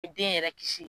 Den yɛrɛ kisi